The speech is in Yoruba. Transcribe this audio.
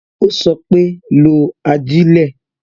Ó sọ pé "lo ajilẹ"